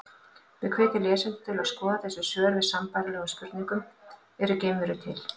Við hvetjum lesendur til að skoða þessi svör við sambærilegum spurningum: Eru geimverur til?